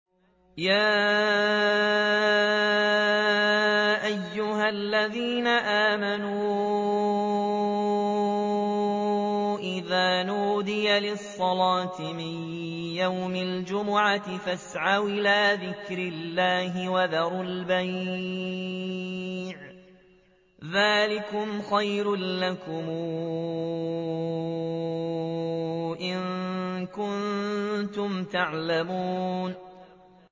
يَا أَيُّهَا الَّذِينَ آمَنُوا إِذَا نُودِيَ لِلصَّلَاةِ مِن يَوْمِ الْجُمُعَةِ فَاسْعَوْا إِلَىٰ ذِكْرِ اللَّهِ وَذَرُوا الْبَيْعَ ۚ ذَٰلِكُمْ خَيْرٌ لَّكُمْ إِن كُنتُمْ تَعْلَمُونَ